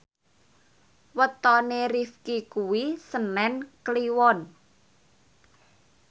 wetone Rifqi kuwi senen Kliwon